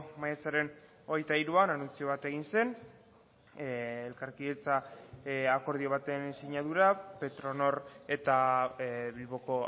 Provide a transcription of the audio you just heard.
maiatzaren hogeita hiruan anuntzio bat egin zen elkarkidetza akordio baten sinadura petronor eta bilboko